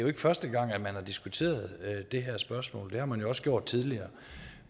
er første gang at man har diskuteret det her spørgsmål det har man også gjort tidligere